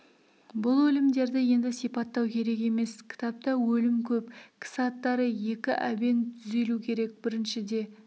бұл өлімдерді енді сипаттау керек емес кітапта өлім көп кісі аттары екі әбен түзелу керек біріншіде